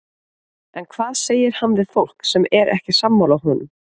En hvað segir hann við fólk sem er ekki sammála honum?